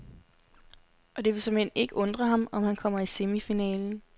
Og det vil såmænd ikke undre ham, om han kommer i semifinalen.